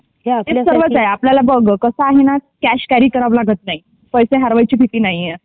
ते सर्वच आहे आपल्यला बघ कॅश कॅरी करावी लागत नाही पैसे हरवायची भीती नाही आहे.